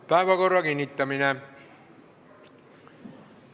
Päevakorra kinnitamine.